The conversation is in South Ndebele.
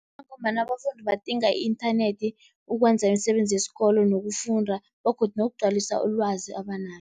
Ngombana abafundi badinga i-inthanethi ukwenza imisebenzi yesikolo nokufunda begodu nokugcwalisa ulwazi abanalo.